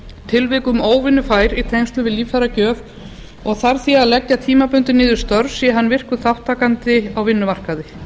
tilvikum óvinnufær í tengslum við líffæragjöf og þarf því að leggja tímabundið niður störf sé hann virkur þátttakandi á vinnumarkaði